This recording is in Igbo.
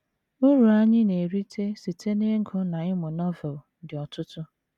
Uru anyị na - erite site n’ịgụ na ịmụ Novel dị ọtụtụ.